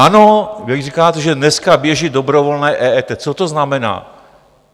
Ano, když říkáte, že dneska běží dobrovolné EET, co to znamená?